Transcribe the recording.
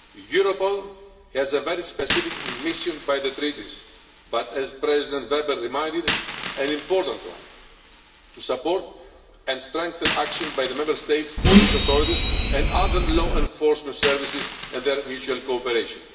Europol has a very specific mission by the Treaties, but as Mr Weber reminded us, it is an important one to support and strengthen action by the Member States' police authorities and other law enforcement services and their mutual cooperation.